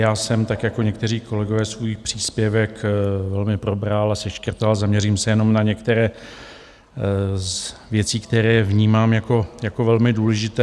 Já jsem, tak jako někteří kolegové, svůj příspěvek velmi probral a seškrtal, zaměřím se jenom na některé věci, které vnímám jako velmi důležité.